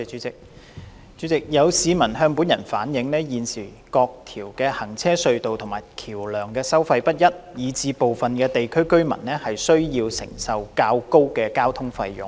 主席，有市民向本人反映，現時各條行車隧道及橋樑的收費不一，以致部分地區的居民需要承擔較高的交通費用。